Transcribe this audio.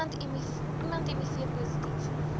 iemand miv positief